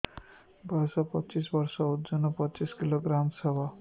ବୟସ ପଚିଶ ବର୍ଷ ଓଜନ ପଚିଶ କିଲୋଗ୍ରାମସ ହବ